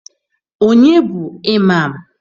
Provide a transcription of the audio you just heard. Ọnye na-bụ Ịmam?